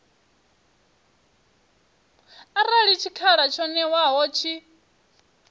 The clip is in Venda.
arali tshikhala tsho ṅewaho tshi